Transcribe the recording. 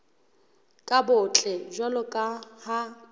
bo botle jwalo ka ha